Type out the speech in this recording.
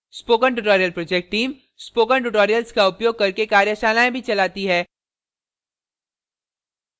spoken tutorial project team spoken tutorials का उपयोग करके कार्यशालाएँ भी चलाती है